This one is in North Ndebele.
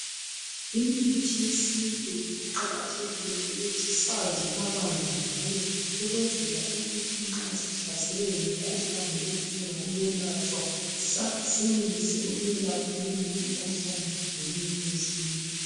Imithi yesintu kuqakathekile ukuthi sazi kabanzi ngayo. Ukwenzela ukuthi nxa sihlaselwe yimikhuhlane, edinga ukwelatshwa. Sa..,Senelise ukuyelapha leyimikhuhlane, ngemithi yesintu.